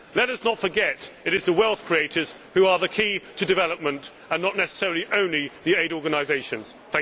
Let us not forget it is the wealth creators who are the key to development and not necessarily the aid organisations only.